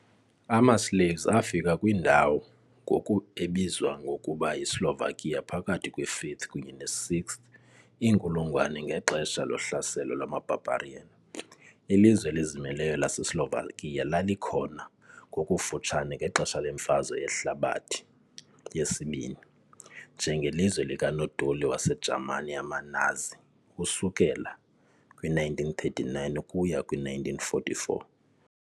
AmaSlavs afika kwindawo ngoku ebizwa ngokuba yiSlovakia phakathi kwe- 5th kunye ne -6th inkulungwane ngexesha lohlaselo lwama-barbarian . Ilizwe elizimeleyo laseSlovakia lalikhona ngokufutshane ngexesha leMfazwe Yehlabathi II, njengelizwe likanodoli waseJamani yamaNazi ukusuka kwi-1939 ukuya kwi-1944.